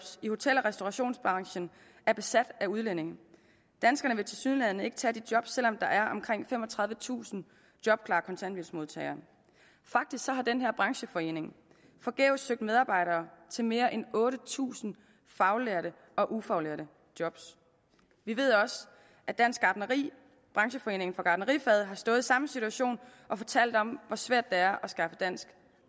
i hotel og restaurationsbranchen er besat af udlændinge danskerne vil tilsyneladende ikke tage de job selv om der er omkring femogtredivetusind jobklare kontanthjælpsmodtagere faktisk har den her brancheforening forgæves søgt medarbejdere til mere end otte tusind faglærte og ufaglærte job vi ved også at dansk gartneri brancheforeningen for gartnerifaget har stået i samme situation og fortalt om hvor svært er at skaffe dansk